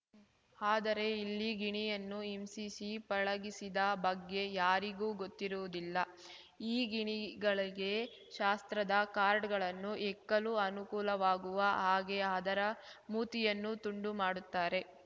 ಆದರೆ ಇಲ್ಲಿ ಗಿಣಿಯನ್ನು ಹಿಂಸಿಸಿ ಪಳಗಿಸಿದ ಬಗ್ಗೆ ಯಾರಿಗೂ ಗೊತ್ತಿರುವುದಿಲ್ಲ ಈ ಗಿಣಿಗಳಿಗೆ ಶಾಸ್ತ್ರದ ಕಾರ್ಡ್‌ಗಳನ್ನು ಹೆಕ್ಕಲು ಅನುಕೂಲವಾಗುವ ಹಾಗೆ ಅದರ ಮೂತಿಯನ್ನು ತುಂಡು ಮಾಡುತ್ತಾರೆ